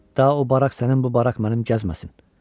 Da o barak sənin, bu barak mənim gəzməsin.